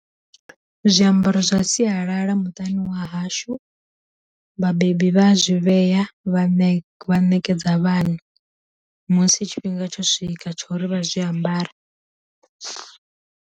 Zwiambaro zwa sialala muṱani wa hashu, vhabebi vha zwi vhea vha ne vha ṋekedza vhana musi tshifhinga tsho swika tshori vha zwi ambare.